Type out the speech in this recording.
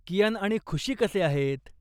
कियान आणि खुशी कसे आहेत?